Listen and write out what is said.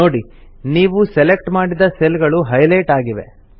ನೋಡಿ ನೀವು ಸೆಲೆಕ್ಟ್ ಮಾಡಿದ ಸೆಲ್ ಗಳು ಹೈಲೆಟ್ ಆಗಿವೆ